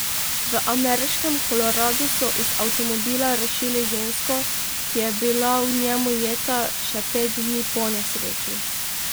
V ameriškem Koloradu so iz avtomobila rešili žensko, ki je bila v njem ujeta še pet dni po nesreči.